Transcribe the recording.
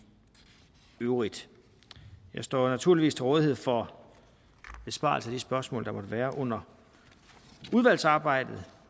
øvrigt jeg står naturligvis til rådighed for besvarelse af de spørgsmål der måtte være under udvalgsarbejdet